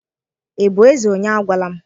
Ịbụ ezé onye àgwàla m?